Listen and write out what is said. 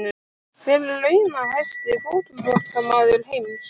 Hver er launahæsti fótboltamaður heims?